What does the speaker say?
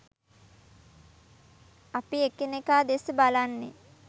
අපි එකිනෙකා දෙස බලන්නෙ